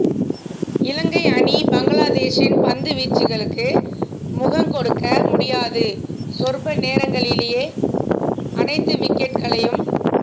இலங்கை அணி பங்களாதேஷின் பந்து வீச்சுகளுக்கு முகங்கொடுக்க முடியாது சொற்ப நேரங்களிலேயே அனைத்து விக்கெட்டுக்களையும்